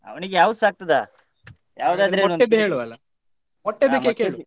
ಅವನಿಗೆ ಯಾವುದುಸ ಆಗ್ತದಾ .